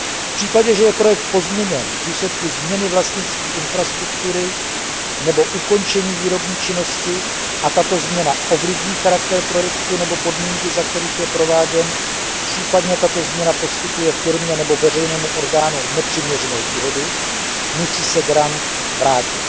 V případě, že je projekt pozměněn v důsledku změny vlastnictví infrastruktury nebo ukončení výrobní činnosti a tato změna ovlivní charakter projektu nebo podmínky, za kterých je prováděn, případně tato změna poskytuje firmě nebo veřejnému orgánu nepřiměřenou výhodu, musí se grant vrátit.